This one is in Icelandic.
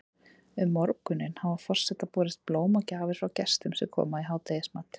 Um morguninn hafa forseta borist blóm og gjafir frá gestum sem koma í hádegismat.